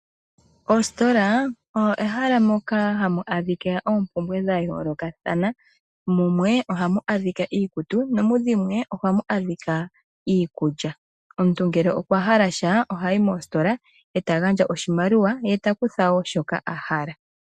Ositola oyo ehala moka hamu adhika oompumbwe dhayoolokathana, mudhilwe ohamu adhika iikutu nomu dhimwe ohamu adhika iikulya. Omuntu ngele okwa hala sha ohayi mositola eta gandja oshimaliwa ye takutha shoka ahala.